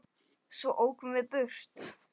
Svo ókum við burt.